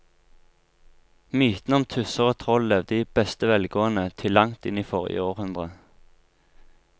Mytene om tusser og troll levde i beste velgående til langt inn i forrige århundre.